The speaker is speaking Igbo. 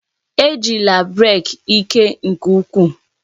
Ejila brek ike nke ukwuu!